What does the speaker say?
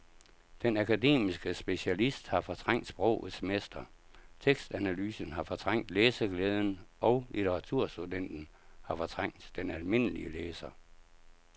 Den akademiske specialist har fortrængt sprogets mester, tekstanalysen har fortrængt læseglæden og litteraturstudenten har fortrængt den almindelige læser.